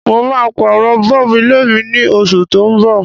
Mo ma pàrọ̀ bulb ilé mí ni osù to n bọ̀